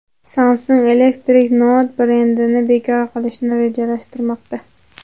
Samsung Electronics Note brendini bekor qilishni rejalashtirmoqda.